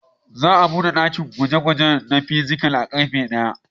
Za a buɗe ɗakin gwaje-gwage na fizics a karfe daya.